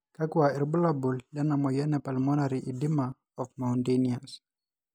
kakua irbulabol lena moyian e Pulmonary edema of mountaineers?